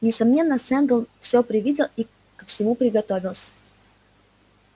несомненно сэлдон все предвидел и ко всему приготовился